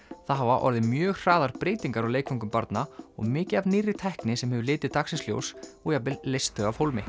það hafa orðið mjög hraðar breytingar á leikföngum barna og mikið af nýrri tækni sem hefur litið dagsins ljós og jafnvel leyst þau af hólmi